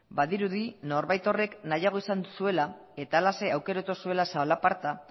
badirudi norbait horrek nahiago izan zuela eta halaxe aukeratu zuela zalaparta